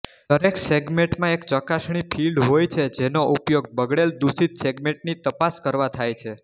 દરેક સેગ્મેન્ટમાં એક ચકાસણી ફિલ્ડ હોય છે જેનો ઉપયોગ બગડેલદુષિત સેગ્મેન્ટની તપાસ કરવા થાય છે